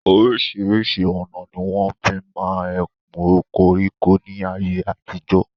Orísìírísìí ọ̀nà ni wọ́n fi máa ń ẹkun koríko ní ayé àtijọ́.